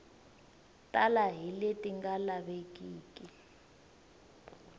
tala hi leti nga lavekiki